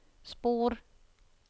spor